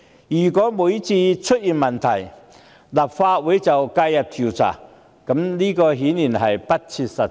如果每次出問題，立法會都介入調查，顯然不切實際。